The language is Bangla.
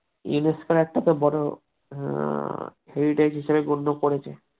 হ্যাঁ